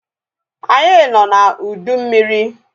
Anyị nọ na ụdị mmiri